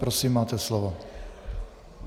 Prosím, máte slovo.